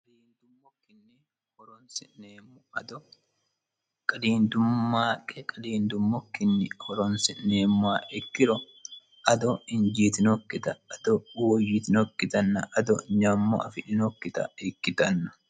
maaqqe qadiindummokkinni horonsi'neemmoha ikkiro ado injiitinokkita ado woyyitinokkita ado nyammo afidhinokkita ikkitanno.